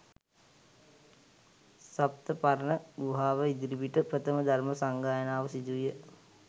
සප්තපර්ණ ගුහාව ඉදිරිපිට ප්‍රථම ධර්ම සංගායනාව සිදුවිය.